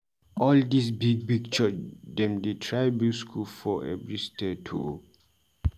All dis big big church dem dey try build skool for every state o.